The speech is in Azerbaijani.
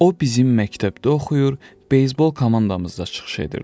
O bizim məktəbdə oxuyur, beysbol komandamızda çıxış edirdi.